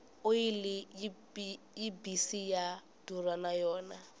oyili yi mbisi ya durha na yona